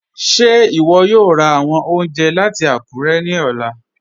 Ṣe iwọ yòò rá awọn ọ̀unjẹ̀ lati Akure ni ọlà?